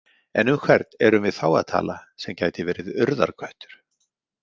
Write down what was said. En um hvern erum við þá að tala sem gæti verið Urðarköttur?